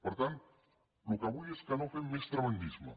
per tant el que vull és que no fem més tremendisme